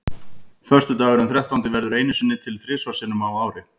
Föstudagurinn þrettándi verður einu sinni til þrisvar sinnum á ári.